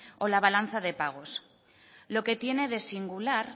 o la balanza de pagos lo que tiene de singular